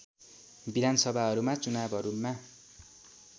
विधान सभाहरूका चुनावहरूमा